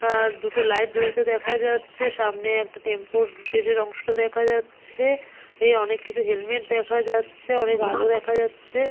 আর-র দুটো লাইট জ্বলছে দেখা যাচ্ছে সামনে একটা টেম্পুর শেষের অংশটা দেখা যাচ্ছে-এ এই অনেক কিছু হেলমেট দেখা যাচ্ছে অনেক আলো দেখা যাচ্ছে।